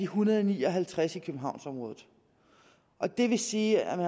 hundrede og ni og halvtreds i københavnsområdet og det vil sige at